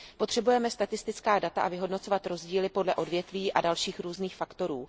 Potřebujeme statistická data a potřebujeme vyhodnocovat rozdíly podle odvětví a dalších různých faktorů.